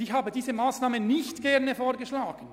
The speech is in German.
Ich habe diese Massnahme nicht gerne vorgeschlagen.